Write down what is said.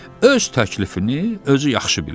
Öz təklifini özü yaxşı bilir.